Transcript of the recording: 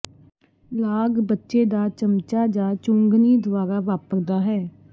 ਲਾਗ ਬੱਚੇ ਦਾ ਚਮਚਾ ਜ ਚੁੰਘਣੀ ਦੁਆਰਾ ਵਾਪਰਦਾ ਹੈ